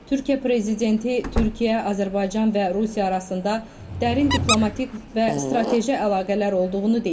Türkiyə prezidenti Türkiyə, Azərbaycan və Rusiya arasında dərin diplomatik və strateji əlaqələr olduğunu deyib.